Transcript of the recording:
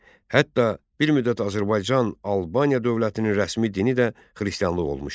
Hətta bir müddət Azərbaycan Albaniya dövlətinin rəsmi dini də xristianlıq olmuşdur.